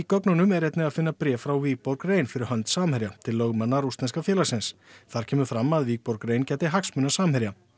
gögnunum er einnig að finna bréf frá Wikborg rein fyrir hönd Samherja til lögmanna rússneska félagsins þar kemur fram að rein gæti hagsmuna Samherja